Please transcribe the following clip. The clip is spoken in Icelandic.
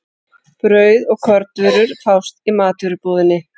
Brauð og kornvörur fást í matvörubúðinni.